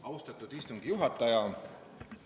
Austatud istungi juhataja!